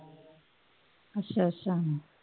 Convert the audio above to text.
ਅੱਛਾ ਅੱਛਾ